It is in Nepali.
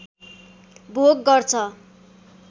भोग गर्छ